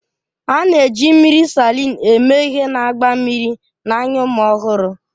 A na-eji mmiri Salịn eme ihe na-agba mmiri n'anya ụmụ ọhụrụ